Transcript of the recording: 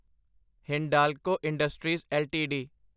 Hindalco industries LTD